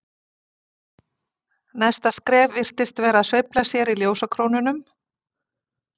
Næsta skref virtist vera að sveifla sér í ljósakrónunum.